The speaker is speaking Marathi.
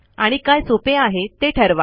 आणि काय सोपे हे ते ठरवा